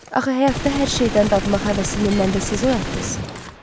Axı həyatda hər şeydən dadmaq həvəsini mənə siz oyatdınız.